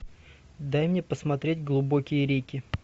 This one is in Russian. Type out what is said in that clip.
дай мне посмотреть глубокие реки